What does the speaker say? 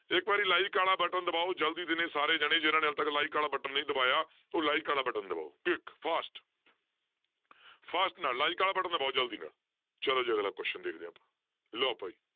ਇੱਕ ਵਾਰੀ like ਵਾਲਾ button ਦਬਾਓ ਜ਼ਲਦੀ ਦੇਣੇ ਸਾਰੇ ਜਾਣੇ ਜਿਹਨਾਂ ਨੇ ਹਾਲੇ ਤੱਕ like ਵਾਲਾ button ਨਹੀਂ ਦਬਾਇਆ, ਉਹ like ਵਾਲਾ button ਦਬਾਓ quick fast fast ਨਾਲ like ਵਾਲਾ button ਦਬਾਓ ਜ਼ਲਦੀ ਨਾਲ ਚਲੋ ਜੀ ਅਗਲਾ question ਦੇਖਦੇ ਹਾਂ ਆਪਾਂ ਲਓ ਭਾਈ